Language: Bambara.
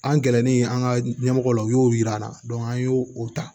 An gɛrɛlen an ka ɲɛmɔgɔ la u y'o yira an na an y'o o ta